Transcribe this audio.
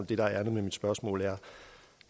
det der er ærindet med mit spørgsmål